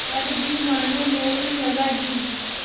पर भी मानो मुहर लगा दी